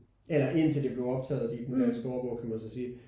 Eller ind til det blev optaget i den danske ordbog kan man så sige